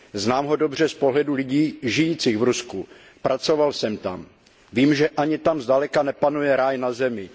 Znám ho dobře z pohledu lidí žijících v Rusku. Pracoval jsem tam. Vím, že ani tam zdaleka nepanuje ráj na zemi.